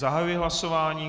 Zahajuji hlasování.